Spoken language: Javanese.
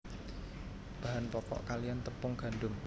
Bahan pokok kaliyan tepung gandum